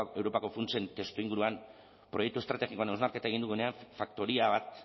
europako funtsen testuinguruan proiektu estrategikoen hausnarketa egin dugunean faktoria bat